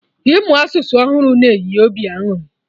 Ịmụ asụsụ ọhụrụ na-enye obi aṅụrị